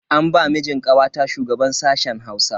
An ba mijin kawata shugaban sashen Hausa.